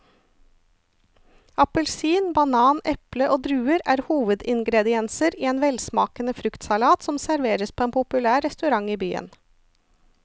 Appelsin, banan, eple og druer er hovedingredienser i en velsmakende fruktsalat som serveres på en populær restaurant i byen.